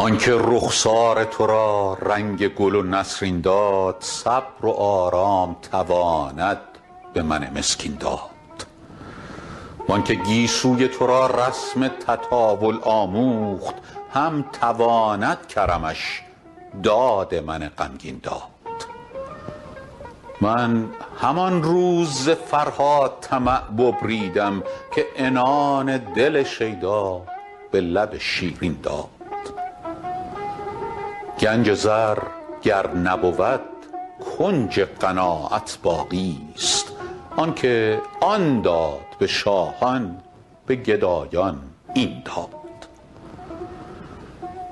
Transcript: آن که رخسار تو را رنگ گل و نسرین داد صبر و آرام تواند به من مسکین داد وان که گیسوی تو را رسم تطاول آموخت هم تواند کرمش داد من غمگین داد من همان روز ز فرهاد طمع ببریدم که عنان دل شیدا به لب شیرین داد گنج زر گر نبود کنج قناعت باقیست آن که آن داد به شاهان به گدایان این داد